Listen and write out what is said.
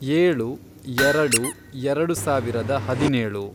ಏಳು, ಎರೆಡು, ಎರೆಡು ಸಾವಿರದ ಹದಿನೇಳು